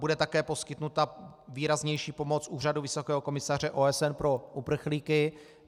Bude také poskytnuta výraznější pomoc Úřadu vysokého komisaře OSN pro uprchlíky.